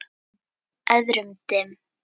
Öðrum dimm.